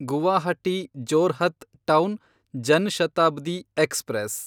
Guwahati Jorhat town Jan Shatabdi express